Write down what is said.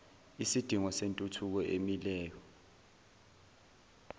isidingo sentuthuko emileyo